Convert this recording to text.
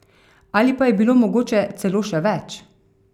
Ali pa je bilo mogoče celo še več?